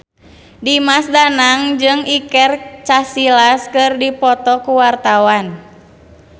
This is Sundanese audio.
Dimas Danang jeung Iker Casillas keur dipoto ku wartawan